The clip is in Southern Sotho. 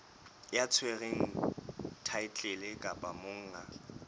ya tshwereng thaetlele kapa monga